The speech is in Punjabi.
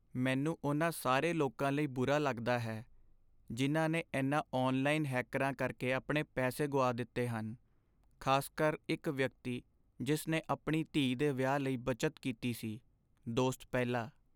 ਮੈਨੂੰ ਉਨ੍ਹਾਂ ਸਾਰੇ ਲੋਕਾਂ ਲਈ ਬੁਰਾ ਲੱਗਦਾ ਹੈ ਜਿਨ੍ਹਾਂ ਨੇ ਇਨ੍ਹਾਂ ਔਨਲਾਈਨ ਹੈਕਰਾਂ ਕਰਕੇ ਆਪਣੇ ਪੈਸੇ ਗੁਆ ਦਿੱਤੇ ਹਨ, ਖ਼ਾਸਕਰ ਇੱਕ ਵਿਅਕਤੀ ਜਿਸ ਨੇ ਆਪਣੀ ਧੀ ਦੇ ਵਿਆਹ ਲਈ ਬੱਚਤ ਕੀਤੀ ਸੀ ਦੋਸਤ ਪਹਿਲਾ